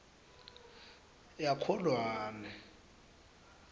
yakholwane